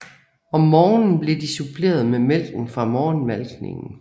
Om morgenen blev de suppleret med mælken fra morgenmalkningen